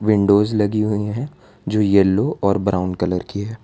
Windows लगी हुई हैं जो येलो और ब्राउन कलर की है।